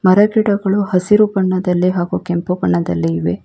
ಮರಗಿಡಗಳು ಹಸಿರು ಬಣ್ಣದಲ್ಲಿ ಹಾಗು ಕೆಂಪು ಬಣ್ಣದಲ್ಲಿ ಇವೆ.